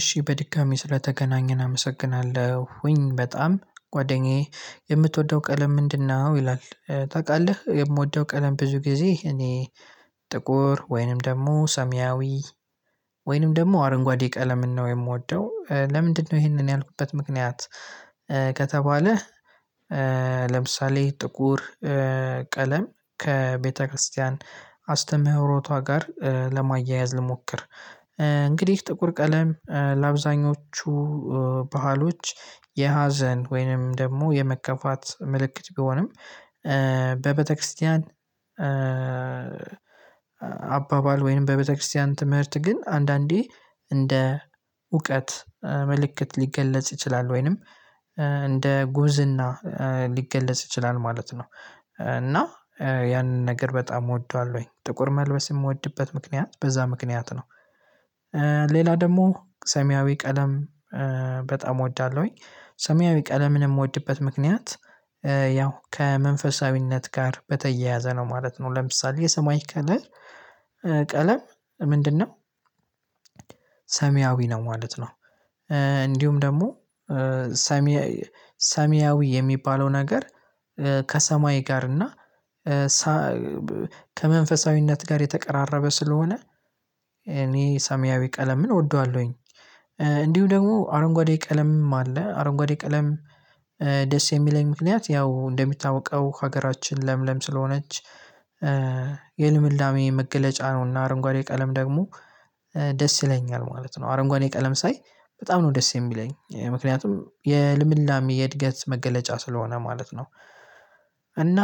እሺ በድጋሚ ስለተገናኘን አመሰግናለሁኝ በጣም ጓደኛዬ የምትወደው ቀለም ምንድነው? ይላል ታውቃለህ የምወደው ቀለም ብዙ ጊዜ እኔ ጥቁር ወይንም ደግሞ ሰሚያዊ ወይንም ደግሞ አረንጓዴ ቀለምን ነው የምወደው። ለምንድነው ይሄንን ያልኩት ምክንያት? ከተባለ ለምሳሌ ጥቁር ቀለም ከቤተክርስቲያን አስተምህሮቷ ጋር ለማያያዝ ልሞክር። እንግዲህ ጥቁር ቀለም ለአብዛኞቹ ባህሎች የሀዘን ወይንም ደግሞ የመከፋት ምልክት ቢሆንም በቤተክርስቲያን አባባል ወይም በቤተክርስቲያን ትምህርት ግን አንዳንዴ እንደ እውቀት መልእክት ሊገለጽ ይችላል። ወይንም እንደ ጉብዝና ሊገለጽ ይችላል ማለት ነው። እና ያንን ነገር በጣም እወደዋለሁኝ ጥቁር መልበስ የምወድበት ምክንያት በዛ ምክንያት ነው። ሌላ ደግሞ ሰሚያዊ ቀለም በጣም እወዳለሁኝ። ሰሚያዊ ቀለምን የምወድበት ምክንያት ያው ከመንፈሳዊነት ጋር በተያያዘ ነው ማለት ነው። ለምሳሌ የሰማያዊ ቀለል ቀለም ምንድነው? ሰሚያዊ ነው ማለት ነው። እንዲሁም ደግሞ ሰማያዊ የሚባለው ነገር ከሰማይ ጋር እና ከመንፈሳዊ ከመንፈሳዊነት ጋር የተቀራረበ ስለሆነ እኔ ሰሚያዊ ቀለምን እወደዋለሁኝ። እንዲሁ ደግሞ አረንጓዴ ቀለምም አለ አረንጓዴ ቀለም ደስ የሚለኝ ምክንያት ያው እንደሚታውቀው ሀገራችን ለምለም ስለሆነች የልምላሜ መገለጫ ነውና አረንጓዴ ቀለም ደግሞ ደስ ይለኛል ማለት ነው። አረንጓዴ ቀለም ሳይ በጣም ነው ደስ የሚለኝ ምክንያቱም የልምላሜ የእድገት መገለጫ ስለሆነ ማለት ነው። እና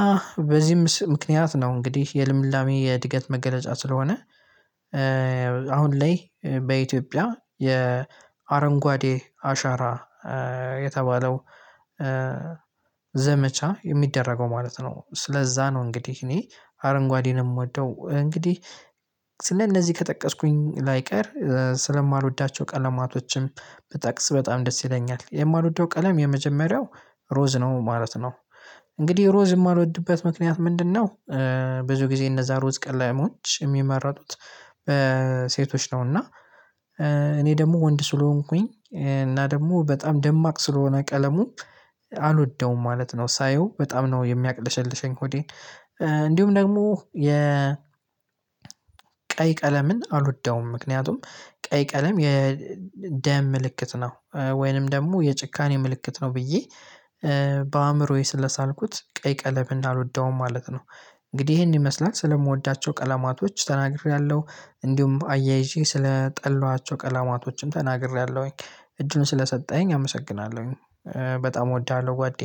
በዚህም ምክንያት ነው እንግዲህ የልምላሜ የእድገት መገለጫ ስለሆነ። አሁን ላይ በኢትዮጵያ የአረንጓዴ አሻራ የተባለው ዘመቻ የሚደረገው ማለት ነው ስለዛ ነው እንግዲህ እኔ አረንጓዴን የምወደው እንግዲህ። ስለነዚህ ከጠቀስኩኝ ላይቀር ስለማልወዳቸው ቀለማቶችም ብጠቅስ በጣም ደስ ይለኛል። የማልወደው ቀለም የመጀመሪያው ሮዝ ነው ማለት ነው። እንግዲህ ሮዝ የማልወድበት ምክንያት ምንድነው? ብዙ ጊዜ እነዛ ሮዝ ቀለሞች የሚመረጡት በሴቶች ነው። እና እኔ ደግሞ ወንድ ስለሆንኩኝ እና ደግሞ በጣም ደማቅ ስለሆነ ቀለሙ አልወደውም ማለት ነው። ሳየው በጣም ነው የሚያቅለሸልሸኝ ሆዴን። እንዲሁም ደግሞ የ ቀይ ቀለምን አልወደውም ምክንያቱም ቀይ ቀለም የደም ምልክት ነው ወይንም ደግሞ የጭካኔ ምልክት ነው ብዬ በአእምሮዬ ስለሳልኩት ቀይ ቀለም አልወደውም ማለት ነው። እንግዲህ ይሄን ይመስላል ስለምወዳቸው ቀለማቶች ተናግሬያለሁ። እንዲሁም አያይዤ ስለምጠሏቸው ቀለማቶችም ተናግሬያለሁኝ። እድል ስለሰጠኸኝ አመሰግናለሁኝ በጣም እወድሃለሁ ጓዴ።